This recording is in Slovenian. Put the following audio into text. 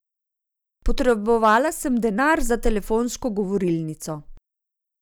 Potrebovala sem denar za telefonsko govorilnico.